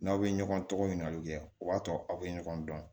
N'aw bɛ ɲɔgɔn tɔgɔ ɲinikaliw kɛ o b'a to aw bɛ ɲɔgɔn dɔn